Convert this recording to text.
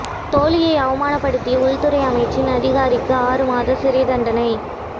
தோழியை அவமானப்படுத்திய உள்துறை அமைச்சின் அதிகாரிக்கு ஆறு மாத சிறைத் தண்டனை